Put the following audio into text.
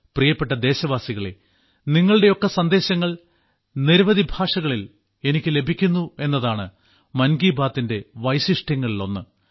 പ്രിയപ്പെട്ട ദേശവാസികളേ നിങ്ങളുടെയൊക്കെ സന്ദേശങ്ങൾ നിരവധി ഭാഷകളിൽ എനിക്കു ലഭിക്കുന്നുവെന്നതാണ് മൻ കി ബാത്തിന്റെ വൈശിഷ്ട്യങ്ങളിലൊന്ന്